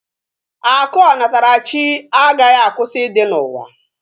Akụ onatarachi agaghị akwụsị ịdị n'ụwa